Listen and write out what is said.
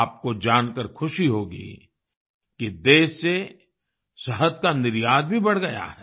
आपको जानकार ख़ुशी होगी कि देश से शहद का निर्यात भी बढ़ गया है